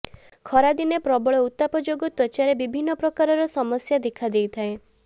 ଖରାଦିନେ ପ୍ରବଳ ଉତ୍ତାପ ଯୋଗୁଁ ତ୍ବଚାରେ ବିଭିନ୍ନ ପ୍ରକାରର ସମସ୍ୟା ଦେଖାଦେଇଥାଏ